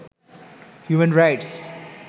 human rights